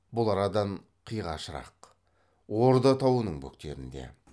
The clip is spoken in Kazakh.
бұл арадан қиғашырақ орда тауының бөктерінде